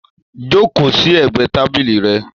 Joko sí ẹgbẹ tábìlì rẹ!